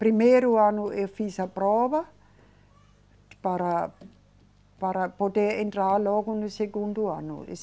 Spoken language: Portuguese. Primeiro ano eu fiz a prova para, para poder entrar logo no segundo ano.